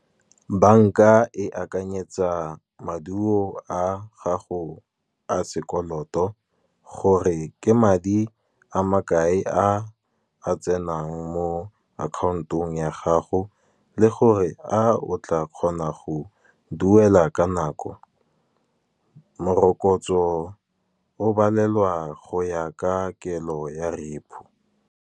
Bank-a e akanyetsa maduo a gago a sekoloto, gore ke madi a makae a a tsenang mo account-ong ya gago. Le gore a o tla kgona go duela ka nako, morokotso o balelwa go ya ka kelo ya repo.